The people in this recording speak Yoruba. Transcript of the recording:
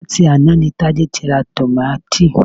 Láti àná ni Tádé ti ra tòmátì